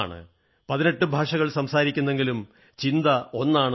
18 ഭാഷകൾ സംസാരിക്കുന്നെങ്കിലും ചിന്ത ഒന്നാണ് എന്നാണ്